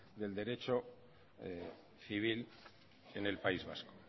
en derecho civil en el país vasco